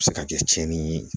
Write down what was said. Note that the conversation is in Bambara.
A bɛ se ka kɛ tiɲɛni ye